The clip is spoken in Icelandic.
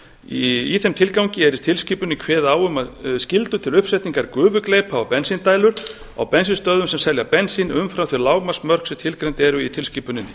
í þeim tilgangi er í tilskipuninni kveðið á um skyldu til uppsetningar gufugleypa á bensíndælur á bensínstöðvum sem selja bensín umfram þau lágmarksmörk sem tilgreind eru í tilskipuninni